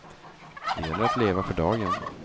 Det gäller att leva för dagen.